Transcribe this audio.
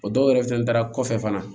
O dɔw yɛrɛ fɛnɛ taara kɔfɛ fana